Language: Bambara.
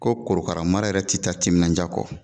Ko korokara mara yɛrɛ tɛ taa timinaja kɔ